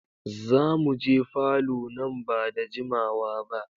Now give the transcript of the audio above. Zamuje falo nan ba da jimawa ba.